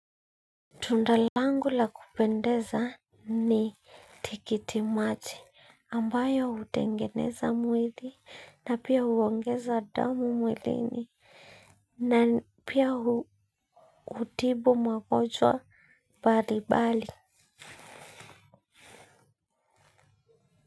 Tunda langu la kupendeza ni tikiti maji ambayo hutengeneza mwili na pia huongeza damu mwilini. Na pia hutibu magonjwa bali bali.